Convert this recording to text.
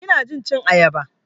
Ina jin cin ayaba.